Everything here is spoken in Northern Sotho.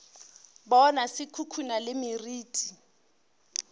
bona se khukhuna le meriti